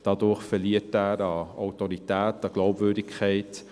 Dadurch verliert er an Autorität, an Glaubwürdigkeit.